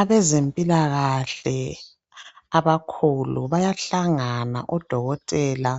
Abezempilakahle abakhulu bayahlangana odokotela